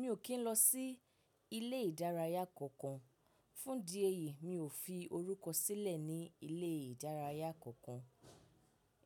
Mi ò kí ń lọ sí ilé ìdárayá kankan. Fún di ẹyìí mi ò fi orúkọ sílẹ̀ ní ilé ìdárayá kankan.